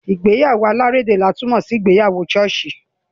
Ìgbéyàwó alárédè ni a tún mọ sí ìgbéyàwó ṣọ́ọ̀ṣì.